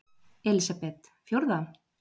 Elísabet: Fjórða?